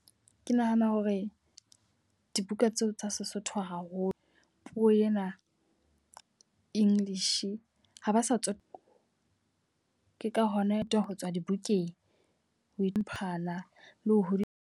Ke nahana hore dibuka tseo tsa Sesotho haholo. Puo ena English ha ba sa . Ke ka hona ho tswa dibukeng. O iphumana le ho .